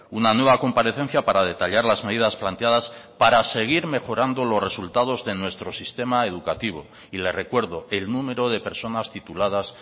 una nueva comparecencia para detallar las medidas planteadas para seguir mejorando los resultados de nuestro sistema educativo y le recuerdo el número de personas tituladas